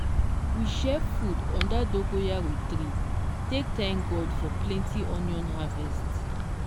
we share food under dogoyaro tree take thank god for plenty onion harvest.